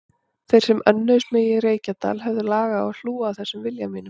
Þeir sem önnuðust mig í Reykjadal höfðu lag á að hlúa að þessum vilja mínum.